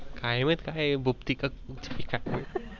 काय माहित काय आहे भूपती का तृपती का.